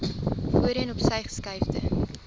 voorheen opsy geskuifde